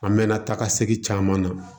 An mɛɛnna taga segin caman na